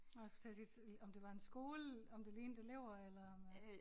Nåh jeg skulle til at sige om det var en skole om det lignede elever eller om øh